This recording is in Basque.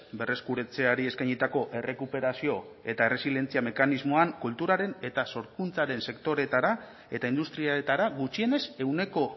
berreskuratzeari eskainitako errekuperazio eta erresilientzia mekanismoan kulturaren eta sorkuntzaren sektoreetara eta industrietara gutxienez ehuneko